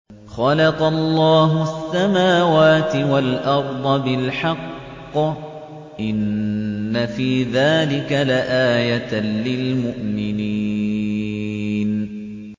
خَلَقَ اللَّهُ السَّمَاوَاتِ وَالْأَرْضَ بِالْحَقِّ ۚ إِنَّ فِي ذَٰلِكَ لَآيَةً لِّلْمُؤْمِنِينَ